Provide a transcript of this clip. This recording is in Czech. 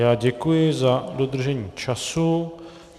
Já děkuji za dodržení času.